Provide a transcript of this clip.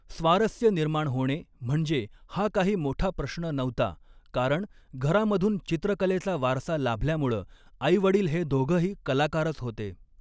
स्वारस्य निर्माण होणे म्हणजे हा काही मोठा प्रश्न नव्हता कारण घरामधून चित्रकलेचा वारसा लाभल्यामुळं आईवडील हे दोघंही कलाकारच होते